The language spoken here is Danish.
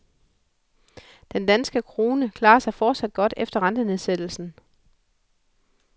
Den danske krone klarer sig fortsat godt efter rentenedsættelsen.